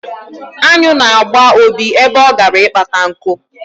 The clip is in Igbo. Aṅụ na-agba Obi ebe ọ gara ịkpata nku.